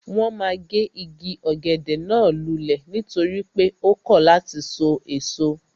Wọ́n ma gé igi ọ̀gẹ̀dẹ̀ náà lulẹ̀ nítorí pé ó kọ̀ láti sọ èso